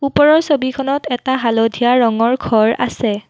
ওপৰৰ ছবিখনত এটা হালধীয়া ৰঙৰ ঘৰ আছে।